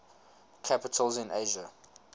capitals in asia